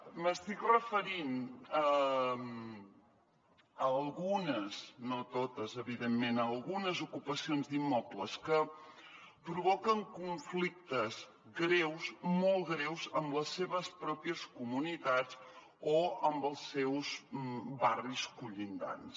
m’estic referint a algunes no totes evidentment ocupacions d’immobles que provoquen conflictes greus molt greus amb les seves pròpies comunitats o amb els seus barris contigus